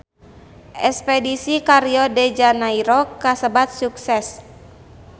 Espedisi ka Rio de Janairo kasebat sukses